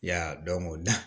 Ya o da